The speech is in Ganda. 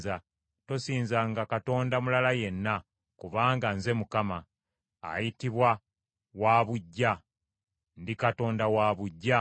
Tosinzanga katonda mulala yenna, kubanga Nze Mukama , ayitibwa Waabuggya, ndi Katonda wa buggya.